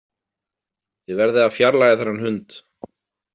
Þið verðið að fjarlægja þennan hund.